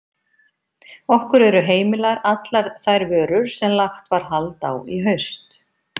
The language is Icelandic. Okkur eru heimilar allar þær vörur sem lagt var hald á í haust.